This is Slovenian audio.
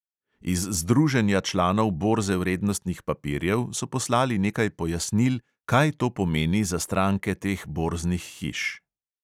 Iz združenja članov borze vrednostnih papirjev so poslali nekaj pojasnil, kaj to pomeni za stranke teh borznih hiš.